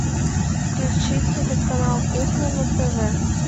включи телеканал кухня на тв